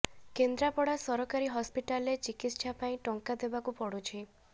କେନ୍ଦ୍ରାପଡ଼ା ସରକାରୀ ହସ୍ପିଟାଲରେ ଚିକିତ୍ସା ପାଇଁ ଟଙ୍କା ଦେବାକୁ ପଡୁଛି